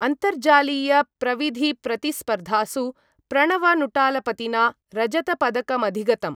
अन्तर्जालीयप्रविधिप्रतिस्पर्धासु प्रणवनुटालपतिना रजतपदकमधिगतम्।